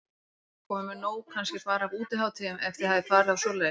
Jóhann: Komin með nóg kannski bara af útihátíðum, ef þið hafið farið á svoleiðis?